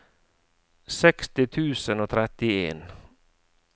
seksti tusen og trettien